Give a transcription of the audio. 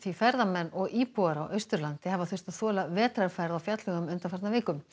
ferðamenn og íbúar á Austurlandi hafa þurft að þola vetrarfærð á fjallvegum undanfarna viku